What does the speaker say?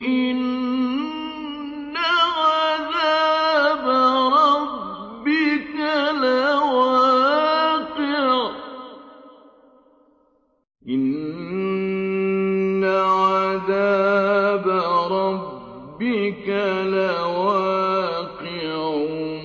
إِنَّ عَذَابَ رَبِّكَ لَوَاقِعٌ